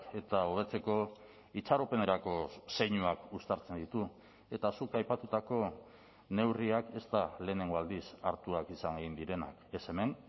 eta hobetzeko itxaropenerako zeinuak uztartzen ditu eta zuk aipatutako neurriak ez da lehenengo aldiz hartuak izan egin direnak ez hemen